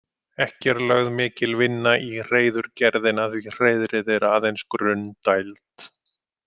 Ekki er lögð mikil vinna í hreiðurgerðina því hreiðrið er aðeins grunn dæld.